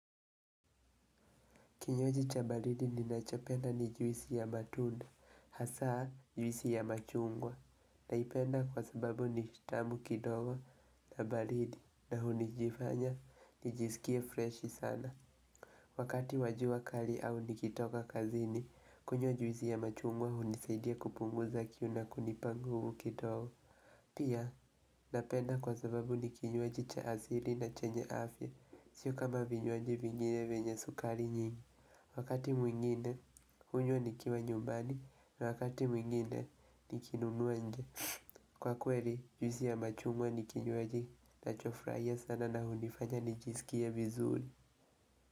Kinywaji cha baridi ninachopenda ni juisi ya matunda, hasaa juisi ya machungwa. Naipenda kwa sababu ni tamu kidogo na baridi na hunijifanya nijisikie freshi sana. Wakati wa jua kali au nikitoka kazini, kunywa juisi ya machungwa hunisaidia kupunguza kiu na kunipa nguvu kidogo. Pia, napenda kwa sababu ni kinywaji cha asili na chenye afya, sio kama vinywaji vinyine venye sukari nyingi. Wakati mwingine, hunywa nikiwa nyumbani na wakati mwingine nikinunua nje. Kwa kweli juisi ya machungwa ni kinywaji nachofurahia sana na hunifanya nijisikie vizuli.